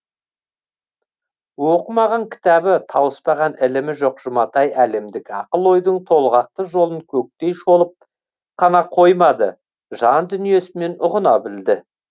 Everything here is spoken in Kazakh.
оқымаған кітабы тауыспаған ілімі жоқ жұматай әлемдік ақыл ойдың толғақты жолын көктей шолып қана қоймады жан дүниесімен ұғына білді